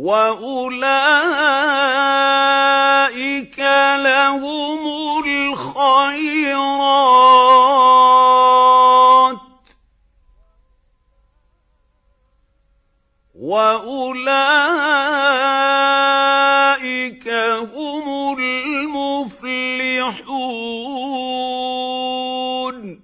وَأُولَٰئِكَ لَهُمُ الْخَيْرَاتُ ۖ وَأُولَٰئِكَ هُمُ الْمُفْلِحُونَ